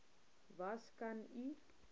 was kan u